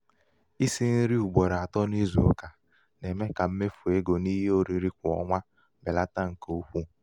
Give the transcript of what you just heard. isi nri um ugboro um atọ n'ịzụ ụka na-eme ka mmefu ego n'ihe oriri kwa ọnwa belata nke um ukwu.